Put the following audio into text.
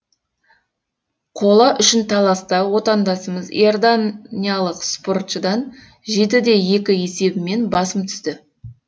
қола үшін таласта отандасымыз иорданиялық спортшыдан жеті де екі есебімен басым түсті